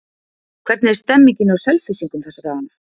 Hvernig er stemningin hjá Selfyssingum þessa dagana?